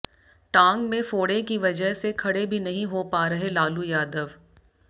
टांग में फोड़े की वजह से खड़े भी नहीं हो पा रहे लालू यादव